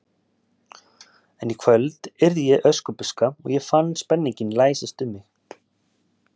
En í kvöld yrði ég Öskubuska og ég fann spenninginn læsast um mig.